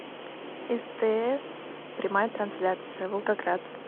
стс прямая трансляция волгоград